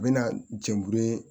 U bɛ na jɛn